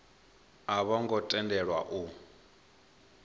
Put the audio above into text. a vho ngo tendelwa u